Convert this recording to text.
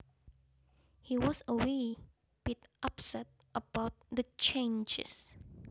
He was a wee bit upset about the changes